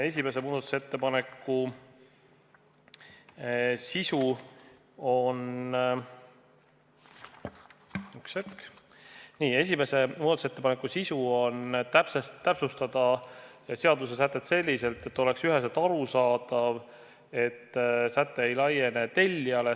Esimese muudatusettepaneku sisu on seadusesätte täpsustamine selliselt, et oleks üheselt arusaadav: säte ei laiene tellijale.